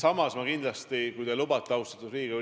Austatud Indrek Saar, aitäh teile selle küsimuse eest!